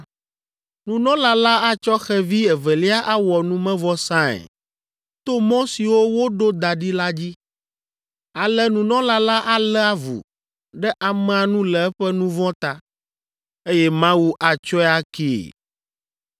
Nunɔla la atsɔ xevi evelia awɔ numevɔsae to mɔ siwo woɖo da ɖi la dzi. Ale nunɔla la alé avu ɖe amea nu le eƒe nu vɔ̃ ta, eye Mawu atsɔe akee.